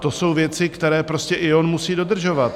To jsou věci, které prostě i on musí dodržovat.